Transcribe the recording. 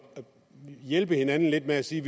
hjælpe hinanden lidt med at sige